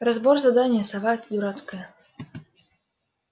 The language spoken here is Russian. разбор задания сова эта дурацкая